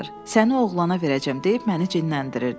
Səni oğlana verəcəm deyib məni cinləndirirdi.